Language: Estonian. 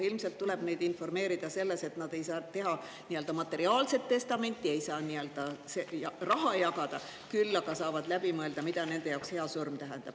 Ilmselt tuleb neid informeerida selles, et nad ei pea nii-öelda materiaalset testamenti, ei saa nii-öelda raha jagada, küll aga saavad läbi mõelda, mida nende jaoks hea surm tähendab.